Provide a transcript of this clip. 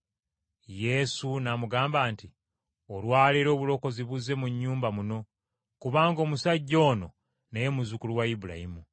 Yesu n’amugamba nti, “Olwa leero obulokozi buzze mu nnyumba muno, kubanga omusajja ono naye muzzukulu wa Ibulayimu.